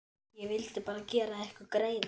Ég vildi bara gera ykkur greiða.